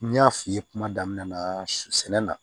N y'a f'i ye kuma damina na sɛnɛna